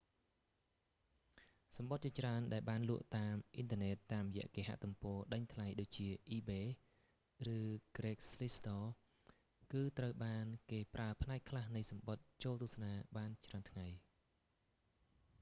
សំបុត្រជាច្រើនដែលបានលក់តាមអ៊ិនធឺណេតតាមរយៈគេហទំព័រដេញថ្លៃដូចជាអ៊ីបេ ebay ឬ ក្រេកស្លីស្ត craigslist គឺត្រូវបានគេប្រើផ្នែកខ្លះនៃសំបុត្រចូលទស្សនាបានច្រើនថ្ងៃ